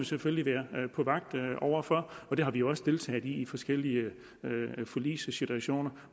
selvfølgelig være på vagt over for og det har vi også deltaget i i forskellige forligssituationer